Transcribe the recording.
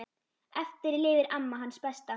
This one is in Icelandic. Eftir lifir amma, hans besta.